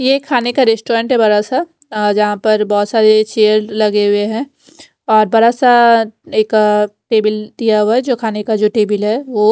ये खाने का रेस्टोरेंट है बड़ा सा अ जहां पर बहोत सारे चेयर लगे हुए हैं और बड़ा सा एक टेबिल दिया हुआ जो खाने का जो टेबिल है वो--